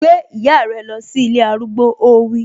Gbé ìyá rẹ lọ sí ilé arúgbó, ó wí